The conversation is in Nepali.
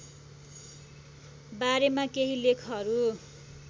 बारेमा केही लेखहरू